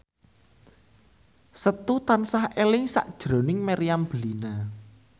Setu tansah eling sakjroning Meriam Bellina